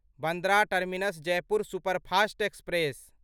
Bandra terminus Jaipur superfast express